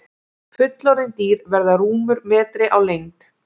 Fullorðin dýr verða rúmur metri á lengd.